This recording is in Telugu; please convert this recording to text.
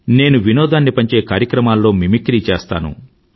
నేను వినోదాన్ని పంచే కార్యక్రమాల్లో మిమిక్రీ చేస్తాను